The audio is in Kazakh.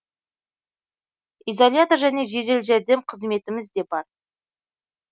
изолятор және жедел жәрдем қызметіміз де бар